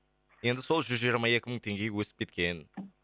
енді сол жүз жиырма екі мың теңгеге өсіп кеткен